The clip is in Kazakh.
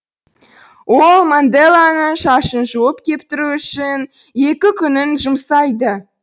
ол манделаның шашын жуып кептіру үшін екі күнін жұмсайды